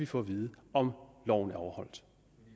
få vide om loven er overholdt